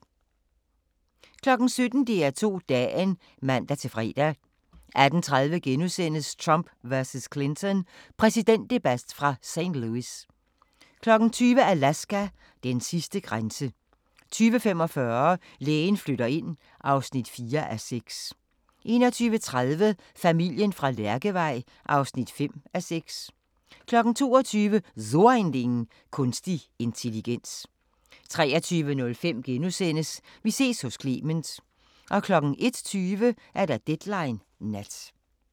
17:00: DR2 Dagen (man-fre) 18:30: Trump vs. Clinton – præsidentdebat fra St. Louis * 20:00: Alaska: Den sidste grænse 20:45: Lægen flytter ind (4:6) 21:30: Familien fra Lærkevej (5:6) 22:00: So ein Ding: Kunstig intelligens 23:05: Vi ses hos Clement * 01:20: Deadline Nat